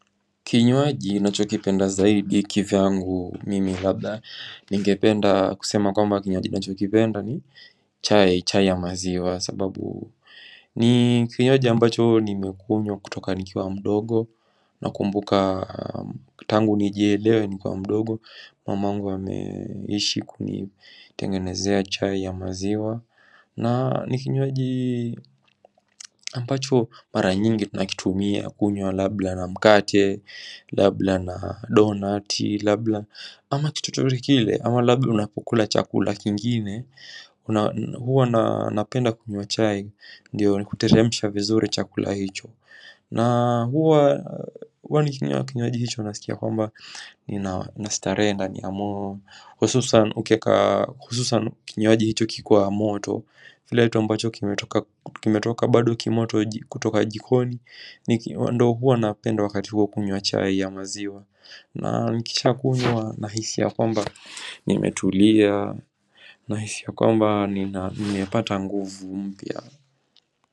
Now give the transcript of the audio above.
Kinywaji nacho kipenda zaidi kivyangu mimi labda Ningependa kusema kwamba kinywaji nacho kipenda ni chai, chai ya maziwa Sababu ni kinywaji ambacho ni mekunywa kutoka nikiwa mdogo Nakumbuka tangu nijielewe nikiwa mdogo Mamangu ameishi kunitengenezea chai ya maziwa Na nikinywaji ambacho mara nyingi tunakitumia Ya kunywa labda na mkate Labla na donati Labla ama kitut chochote kile Ama labla unapukula chakula kingine Huwa napenda kunywa chai Ndiyo ni kuteremisha vizuri chakula hicho Na huwa Huwa ni kinywa kinywaji hicho nasikia kwamba Ni nastarehe ndani ya moyo hususan ukieka hususan kinywaji hicho kikua moto kileto ambacho kimetoka Kimetoka badu kimoto kutoka jikoni Wando huwa napenda wakati hua kunywa chai ya maziwa Na nikishakunywa nahisi ya kwamba nimetulia Nahisi ya kwamba ninepata nguvu mpya.